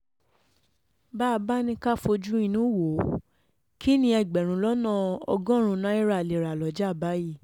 bá a bá ní ká um fojú inú wò ó kín ní ẹgbẹ̀rún lọ́nà ọgọ́rùn-ún náírà lè rà um lọ́jà báyìí